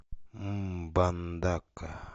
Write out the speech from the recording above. мбандака